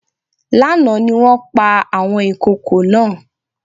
Lánàá ni wọ́n pa àwọn ìkokò náà